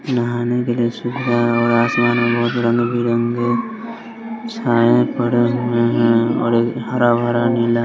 नहाने के लिए सुविधा है और आसमान में बहोत रंग-बिरंगे छाएं पड़े हुए हैं और एक हरा-भरा नीला --